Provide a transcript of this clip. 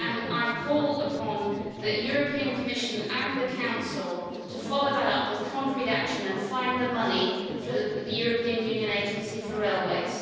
I call upon the Commission and the Council to follow that up with concrete action and find the money for the European Union Agency for Railways.